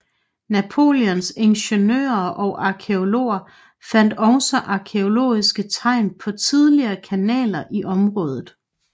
Napoleons ingeniører og arkæologer fandt også arkæologiske tegn på tidligere kanaler i området